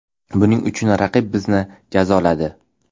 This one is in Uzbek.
Buning uchun raqib bizni jazoladi.